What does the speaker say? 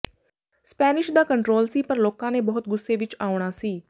Spanish ਦਾ control ਸੀ ਪਰ ਲੋਕਾਂ ਨੇ ਬਹੁਤ ਗੁੱਸੇ ਵਿਚ ਆਉਣਾ ਸੀ